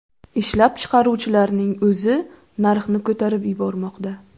Ishlab chiqaruvchilarning o‘zi narxni ko‘tarib yubormoqda.